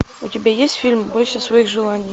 у тебя есть фильм бойся своих желаний